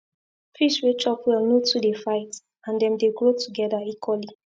fish wey chop well no too dey fight and dem dey grow together equally